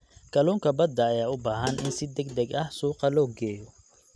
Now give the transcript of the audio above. Kalluunka badda ayaa u baahan in si degdeg ah suuqa loo geeyo.